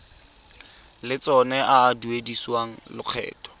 lotseno a a duedisiwang lokgetho